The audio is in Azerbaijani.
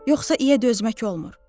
Yoxsa iyə dözmək olmur.